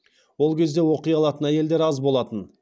ол кезде оқи алатын әйелдер аз болатын